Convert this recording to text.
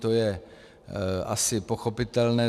To je asi pochopitelné.